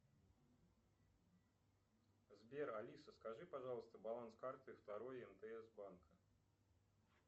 сбер алиса скажи пожалуйста баланс карты второй мтс банка